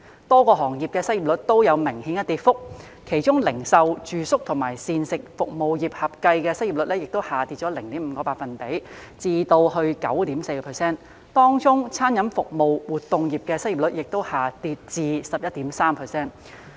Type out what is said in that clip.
多個行業的失業率都有明顯跌幅，其中零售、住宿及膳食服務業合計的失業率下跌 0.5 個百分點至 9.4%， 當中餐飲服務活動業的失業率亦下跌至 11.3%。